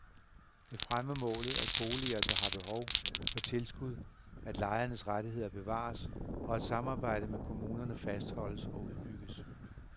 Det fremmer målet, at boliger, der har behov, får tilskud, at lejernes rettigheder bevares, og at samarbejdet med kommunerne fastholdes og udbygges.